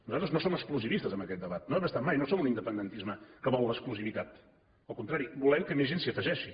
nosaltres no som exclusivistes en aquest debat no ho hem estat mai no som un independentisme que vol l’exclusivitat al contrari volem que més gent s’hi afegeixi